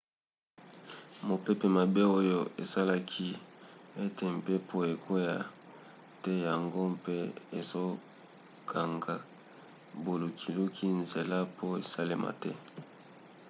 mopepe mabe oyo esalaki ete mpepo ekwea te yango mpe ezokanga bolukiluki nzela po esalama te